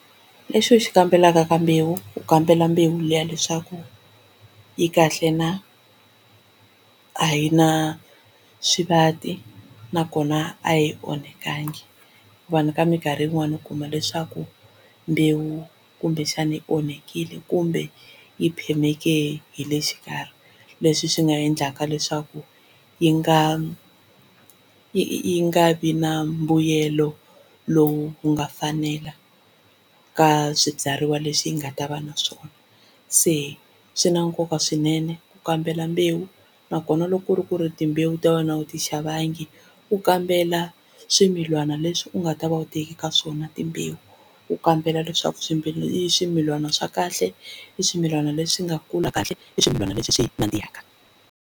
Lexi u xi kambelaka ka mbewu u kambela mbewu liya leswaku yi kahle na a yi na swivati nakona a yi onhakangi. Vanhu ka minkarhi yin'wani u kuma leswaku mbewu kumbexani yi onhakile kumbe yi phemeke hi le xikarhi leswi swi nga endlaka leswaku yi nga yi nga vi na mbuyelo lowu nga fanela ka swibyariwa leswi hi nga ta va na swona, se swi na nkoka swinene ku kambela mbewu nakona loko ku ri ku ri timbewu ta wena a wu ti xavangi. U kambela swimilana leswi u nga ta va u teki ka swona timbewu, u kambela leswaku i swimilana swa kahle i swimilana leswi nga kula kahle i swimilana leswi swi nandzihaka.